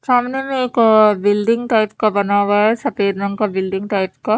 सामने में एक अः बिल्डिंग टाइप का बना हुआ है सफ़ेद रंग का बिल्डिंग टाइप का--